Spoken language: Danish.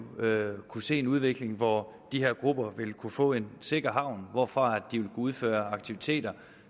kunne se en udvikling hvor de her grupper vil kunne få en sikker havn hvorfra de vil udføre aktiviteter